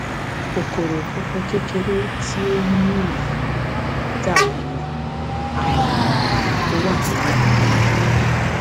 kòkòrò funfun kékeré tí o ní yìí dàbí aràn tó wà nínú